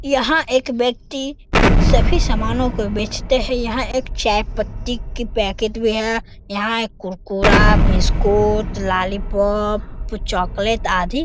यहाँ एक व्यक्ति सभी सामानों को बेचता है। यहाँ एक चायपत्ती की पैकेट भी है। यहाँ एक कुरकुरा बिस्कुट लोलीपॉप चॉकलेट आदी --